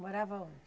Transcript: Morava onde?